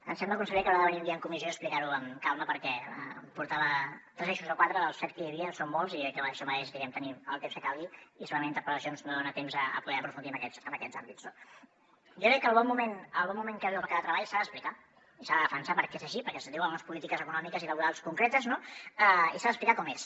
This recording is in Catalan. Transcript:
em sembla conseller que haurà de venir un dia en comissió a explicar ho amb calma perquè portava tres eixos o quatre dels set que hi havia en són molts i això mereix tenir el temps que calgui i segurament amb interpel·lacions no hi ha temps a poder aprofundir en aquests àmbits no jo crec que el bon moment que viu el mercat de treball s’ha d’explicar i s’ha de defensar perquè és així perquè es deu a unes polítiques econòmiques i laborals concretes no i s’ha d’explicar com és